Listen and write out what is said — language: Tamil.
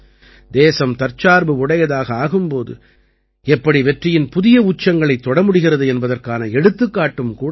தேசம் தற்சார்பு உடையதாக ஆகும் போது எப்படி வெற்றியின் புதிய உச்சங்களைத் தொட முடிகிறது என்பதற்கான எடுத்துக்காட்டும் கூட இது